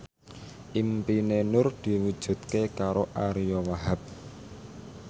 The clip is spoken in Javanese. impine Nur diwujudke karo Ariyo Wahab